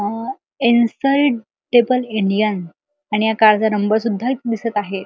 A in side table Indian आणि या कारचा नंबर सुद्धा इथं दिसत आहे.